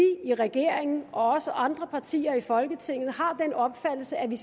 i regeringen og også andre partier i folketinget har den opfattelse at vi